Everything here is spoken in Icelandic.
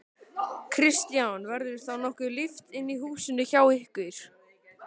Kristján: Verður þá nokkuð líft inni í húsinu hjá ykkur?